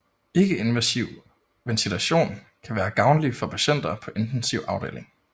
Ikkeinvasiv ventilation kan være gavnlig for patienter på intensiv afdeling